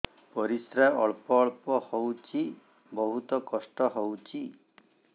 ପରିଶ୍ରା ଅଳ୍ପ ଅଳ୍ପ ହଉଚି ବହୁତ କଷ୍ଟ ହଉଚି